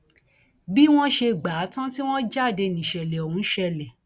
bí wọn ṣe gbà á tán tí wọn jáde níṣẹlẹ ọhún ṣẹlẹ